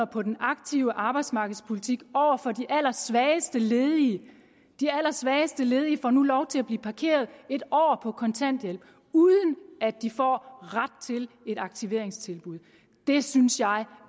på den aktive arbejdsmarkedspolitik over for de allersvageste ledige de allersvageste ledige får nu lov til at blive parkeret en år på kontanthjælp uden at de får ret til et aktiveringstilbud det synes jeg